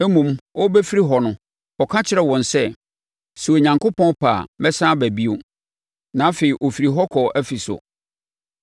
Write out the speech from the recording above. Mmom, ɔrebɛfiri hɔ no, ɔka kyerɛɛ wɔn sɛ, “Sɛ Onyankopɔn pɛ a, mɛsane aba bio.” Na afei, ɔfirii hɔ kɔɔ Efeso.